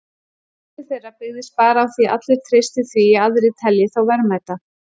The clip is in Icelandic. Verðmæti þeirra byggist bara á því að allir treysti því að aðrir telji þá verðmæta.